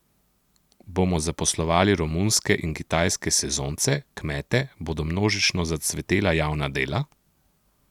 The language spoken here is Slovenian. Bomo zaposlovali romunske in kitajske sezonce, kmete, bodo množično zacvetela javna dela?